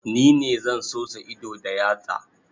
Ni ne zan sosa ido da yatsa.